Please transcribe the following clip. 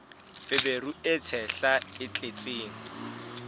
feberu e tshehla e tletseng